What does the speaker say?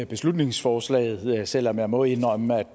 beslutningsforslaget selv om jeg må indrømme at